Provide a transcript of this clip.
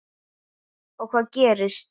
Og hvað gerist?